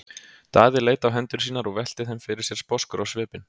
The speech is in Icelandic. Daði leit á hendur sínar og velti þeim fyrir sér sposkur á svipinn.